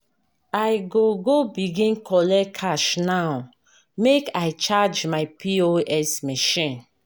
I go go begin collect cash now make I charge my POS machine.